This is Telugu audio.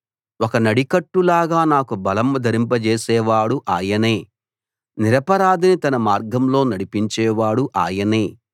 ఒక నడికట్టులాగా నాకు బలం ధరింపజేసేవాడు ఆయనే నిరపరాధిని తన మార్గంలో నడిపించేవాడు ఆయనే